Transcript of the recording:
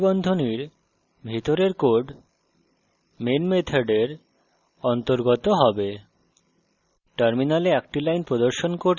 এই দুই curly বন্ধনীর ভিতরের code main মেথডের অন্তর্গত হবে